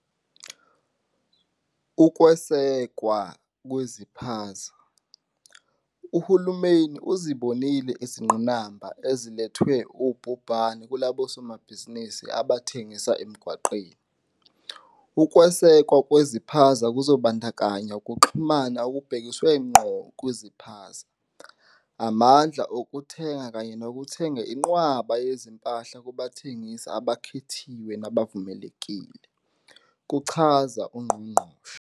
Ukwesekwa Kweziphaza. Uhulumeni uzibonile izingqinamba ezilethwe ubhubhane kulabosomabhizinisi abathengisa emgwaqeni. "Ukwesekwa kweziphaza kuzobandakanya ukuxhumana okubhekiswe ngqo kwiziphaza, amandla okuthenga kanye nokuthenga inqwaba yezimpahla kubathengisi abakhethiwe nabavumelekile," kuchaza uNgqongqoshe.